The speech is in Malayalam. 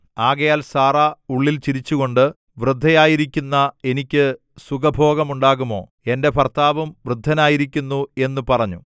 ആകയാൽ സാറാ ഉള്ളിൽ ചിരിച്ചുകൊണ്ട് വൃദ്ധയായിരിക്കുന്ന എനിക്ക് സുഖഭോഗമുണ്ടാകുമോ എന്റെ ഭർത്താവും വൃദ്ധനായിരിക്കുന്നു എന്നു പറഞ്ഞു